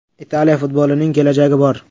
Italiya futbolining kelajagi bor.